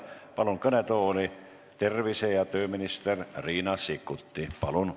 Palun kõnetooli tervise- ja tööminister Riina Sikkuti!